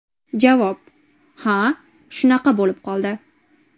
Javob: Ha, shunaqa bo‘lib qoldi.